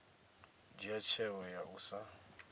dzhia tsheo ya u sa